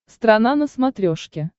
страна на смотрешке